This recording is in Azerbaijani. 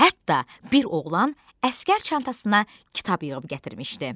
Hətta bir oğlan əsgər çantasına kitab yığıb gətirmişdi.